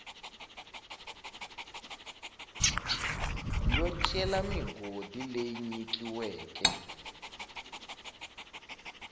yo cela migodi leyi nyikiweke